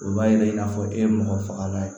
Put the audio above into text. O b'a yira i n'a fɔ e ye mɔgɔ fagalan ye